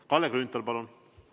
Kalle Grünthal, palun!